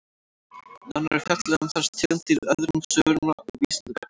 Nánar er fjallað um þessar tegundir í öðrum svörum á Vísindavefnum.